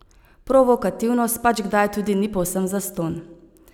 Provokativnost pač kdaj tudi ni povsem zastonj.